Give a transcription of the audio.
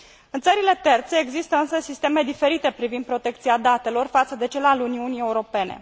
În țările terțe, există însă sisteme diferite privind protecția datelor față de cel al Uniunii Europene.